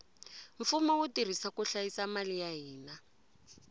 mfumo wu tirha ku hlayisa mali ya hina